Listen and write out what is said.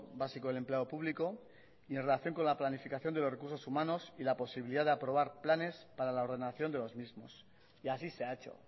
básico del empleo público y en relación con la planificación de los recursos humanos y la posibilidad de aprobar planes para la ordenación de los mismos y así se ha hecho